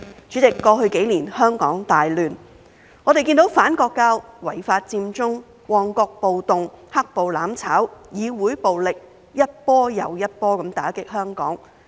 主席，過去幾年香港大亂，我們看到反國教、違法佔中、旺角暴動、"黑暴""攬炒"、議會暴力一波又一波打擊香港。